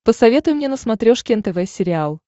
посоветуй мне на смотрешке нтв сериал